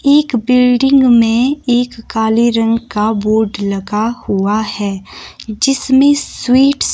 एक बिल्डिंग में एक काले रंग का बोर्ड लगा हुआ है जिसमें स्वीटस --